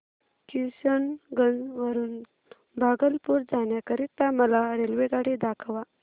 किशनगंज वरून भागलपुर जाण्या करीता मला रेल्वेगाडी दाखवा